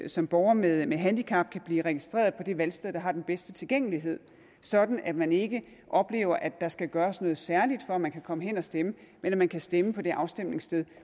som borger med med handicap kan blive registreret på det valgsted der har den bedste tilgængelighed sådan at man ikke oplever at der skal gøres noget særligt for at man kan komme hen og stemme men at man kan stemme på det afstemningssted